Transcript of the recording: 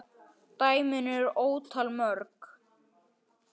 Dæmin eru ótal mörg.